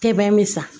Tɛmɛn bɛ san